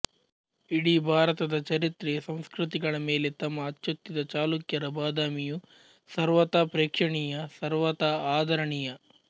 ಇಡೀ ಭಾರತದ ಚರಿತ್ರೆ ಸಂಸ್ಕೃತಿಗಳ ಮೇಲೆ ತಮ್ಮ ಅಚ್ಚೊತ್ತಿದ ಚಾಲುಕ್ಯರ ಬಾದಾಮಿಯು ಸರ್ವಥಾ ಪ್ರೇಕ್ಷಣೀಯ ಸರ್ವಥಾ ಆದರಣೀಯ